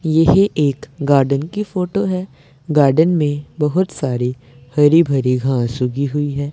यह एक गार्डन की फोटो है गार्डन में बहोत सारे हरी भरी घास उगी हुई है।